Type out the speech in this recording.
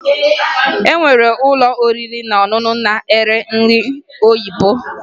O nwere ụlọ oriri na ọṅụṅụ ndị na-ere nri oyibo